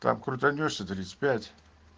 там крутанёшься тридцать пять